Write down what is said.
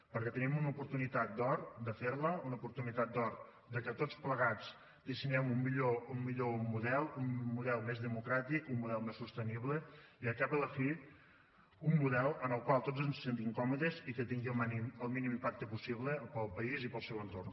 perquè tenim una oportunitat d’or de fer la una oportunitat d’or perquè tots plegats dissenyem un millor model un model més democràtic un model més sostenible i al cap i a la fi un model en el qual tots ens sentim còmodes i que tingui el mínim impacte possible per al país i per al seu entorn